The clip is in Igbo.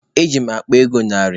Eji m akpa ego narị.